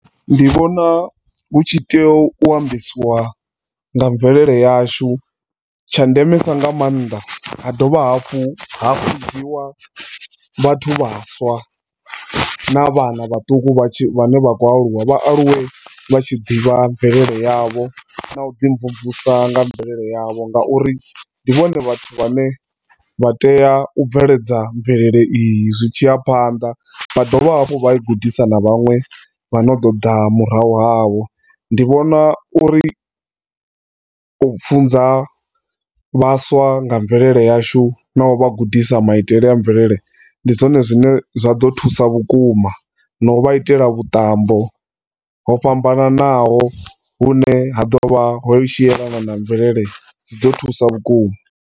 Ndi vhona hu tshi tea u ambesiwa nga mvelele yashu. Tshandemesa nga maanḓa hadovha hafhu vhidziwa vhathu vhaswa navhana vhaṱuku vhane vhakho aluwa vha aluwe vha tshi ḓivha mvelele yavho nauḓi mvumvusa nga mvelelo yavho ngauri ndivhone vhathu vhane vhatea ubveledza mvelele iyi zwitshiya phanḓa vhadovha hafhu vhai gudisa na vhaṅwe vhano ḓoḓa murahu havho. Ndi vhona uri u funza vhaswa nga mvelele yashu na uvha gudisa maiitele a mvelele ndi zwone zwine zwaḓo thusa vhukuma na u vha itela vhuṱambo ho fhambananaho hune ha ḓovha hu tshielana na mvelele zwiḓo thusa vhukuma.